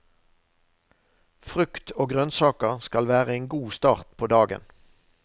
Frukt og grønnsaker skal være en god start på dagen.